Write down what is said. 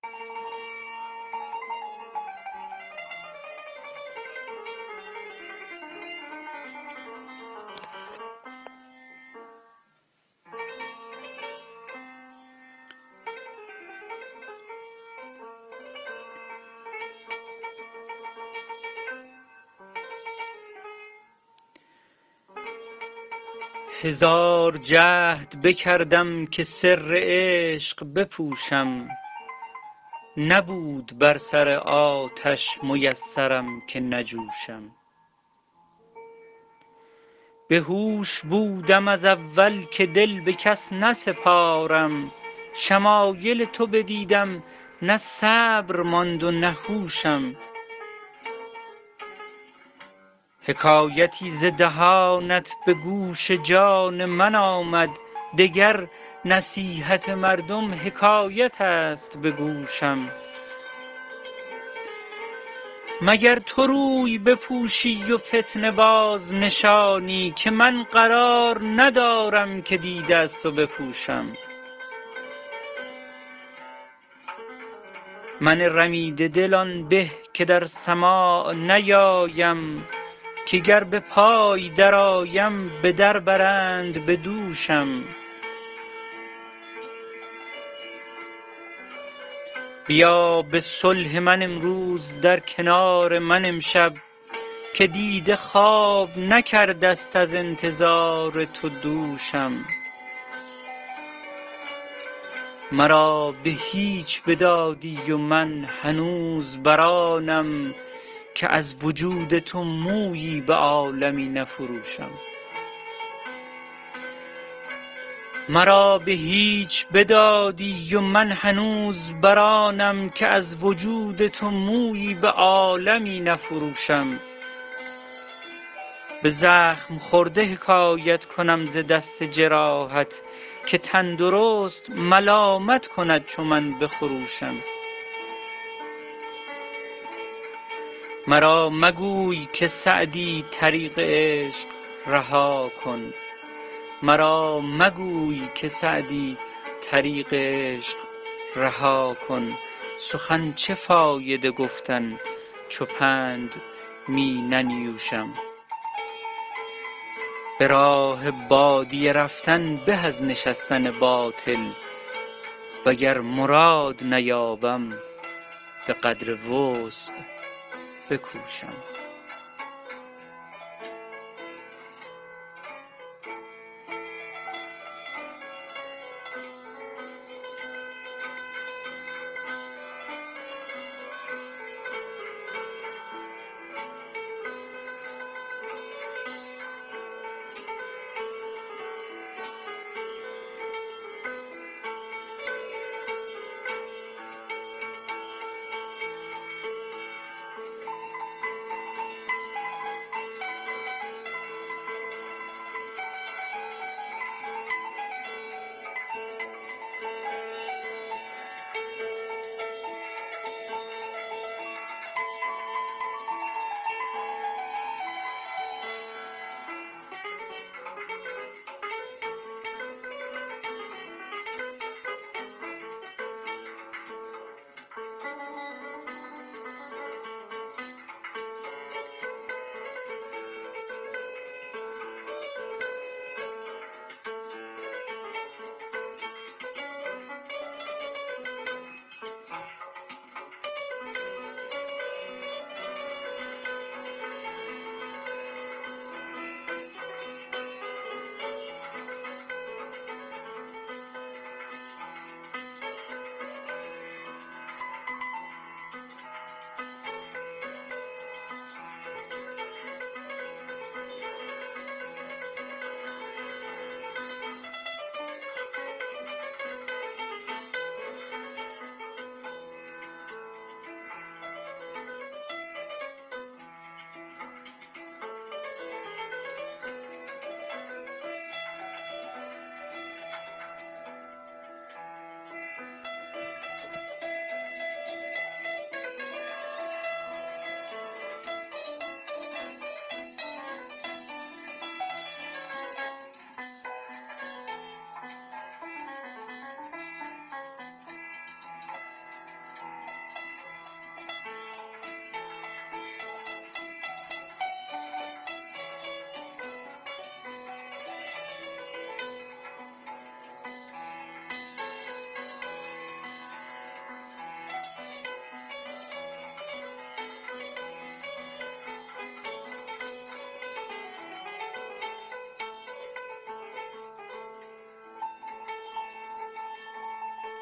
هزار جهد بکردم که سر عشق بپوشم نبود بر سر آتش میسرم که نجوشم بهوش بودم از اول که دل به کس نسپارم شمایل تو بدیدم نه صبر ماند و نه هوشم حکایتی ز دهانت به گوش جان من آمد دگر نصیحت مردم حکایت است به گوشم مگر تو روی بپوشی و فتنه بازنشانی که من قرار ندارم که دیده از تو بپوشم من رمیده دل آن به که در سماع نیایم که گر به پای درآیم به در برند به دوشم بیا به صلح من امروز در کنار من امشب که دیده خواب نکرده ست از انتظار تو دوشم مرا به هیچ بدادی و من هنوز بر آنم که از وجود تو مویی به عالمی نفروشم به زخم خورده حکایت کنم ز دست جراحت که تندرست ملامت کند چو من بخروشم مرا مگوی که سعدی طریق عشق رها کن سخن چه فایده گفتن چو پند می ننیوشم به راه بادیه رفتن به از نشستن باطل وگر مراد نیابم به قدر وسع بکوشم